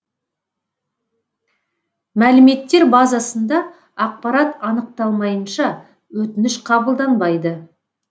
мәліметтер базасында ақпарат анықталмайынша өтініш қабылданбайды